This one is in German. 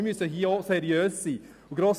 Aber wir müssen dabei seriös vorgehen.